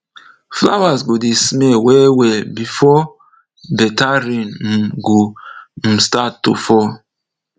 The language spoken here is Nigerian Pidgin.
flowers go dey smell well well before better rain um go start to fall